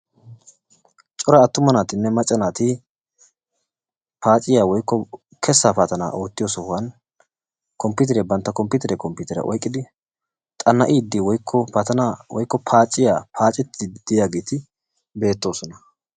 Cora attuma naatinne macca naati cora kessaa paaciyaa woykko paatanaa oottiyoo sohuwaan komppiteriyaa bantta komppiteriyaa komppiteriyaa oyqqidi xana'idi woykko paaciyaa woykko paacettiidi de'iyaageti beettoosona.